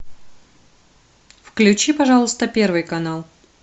включи пожалуйста первый канал